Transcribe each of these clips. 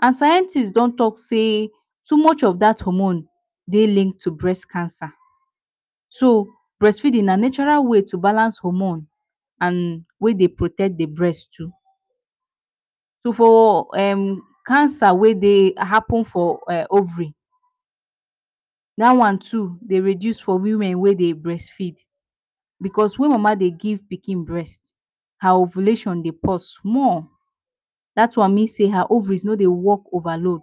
and scientist dontalk sey, too much of dat homorne dey lead to brest cancer and brest feedin na natural way to take balance the hormone and wey dey protect the brest too. For cancer wey dey happen for ovary, da one too dey reduce for women wey dey brest feed because wen mama dey give pikin brest, her ovulation dey pause small. Dat one mean sey, her ovary no dey work ova load.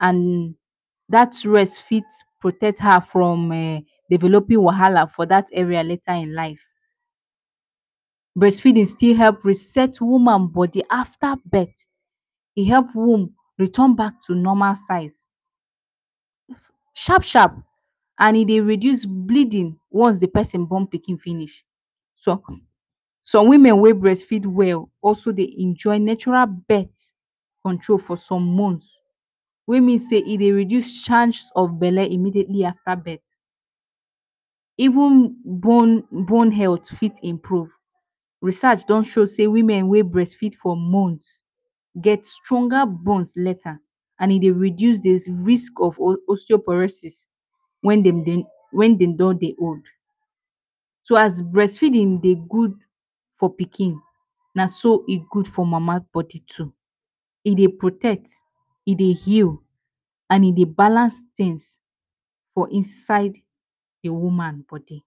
And dat rest fit protect her from developin wahala for dat area later in life. Brest feedin still help reset woman bodi afta birth, e help womb return back to normal size shap-shap and e dey reduce bleedin once the pesin born pikin finish. Som women wey brest feed well also dey enjoy natural birth control for some month. Wey mean sey e dey reduce chance of bele immediately after birth. Even bone health fit improve. Research don show sey women ewey brest feed for month get stronger bone later. And e dey reduce the risk of………….? Wen dem don dey old. So as brest feedin dey gud for pikin na so e gud for mama body too. E dey protect, e dey heal and e dey balance tins for inside the woman bodi.